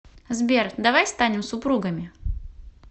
сбер давай станем супругами